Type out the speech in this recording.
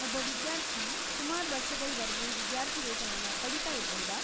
ಒಬ್ಬ ವಿದ್ಯಾರ್ಥಿ ಸುಮಾರ್ ವರ್ಷಗಳ್‌ವರ್ಗೆ ವಿದ್ಯಾರ್ಥಿವೇತನನ ಪಡೀತಾ ಇರ್ಬಹುದಾ?